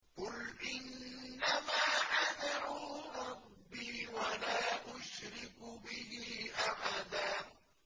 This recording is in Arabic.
قُلْ إِنَّمَا أَدْعُو رَبِّي وَلَا أُشْرِكُ بِهِ أَحَدًا